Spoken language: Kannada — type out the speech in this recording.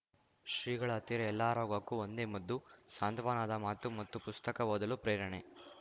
ಶ್ರೀಗಳ ಹತ್ತಿರ ಎಲ್ಲಾ ರೋಗಕ್ಕೂ ಒಂದೇ ಮದ್ದು ಸಾಂತ್ವನದ ಮಾತು ಮತ್ತು ಪುಸ್ತಕ ಓದಲು ಪ್ರೇರಣೆ